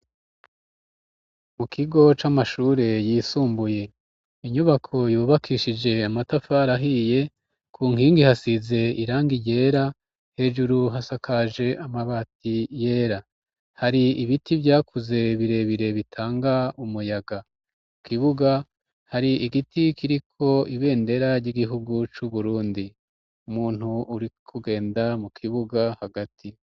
Mu kigo c'amashure yisumbuye inyubako yubakishije amatafari ahiye ku nkingi hasize irangi iyera hejuru hasakaje amabati yera hari ibiti vyakuze birebire bitanga umuyaga u kibuga hari igiti kiri ko ibendera ry'igihugu cu Burundi umuntu uri kugenda mu kibuga hagati.